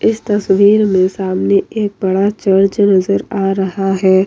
इस तस्वीर में सामने एक बड़ा चर्च नजर आ रहा है।